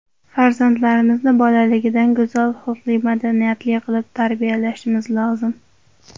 Farzandlarimizni bolaligidan go‘zal xulqli, madaniyatli qilib tarbiyalashimiz lozim.